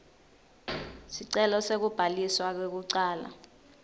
sicelo sekubhaliswa kwekucala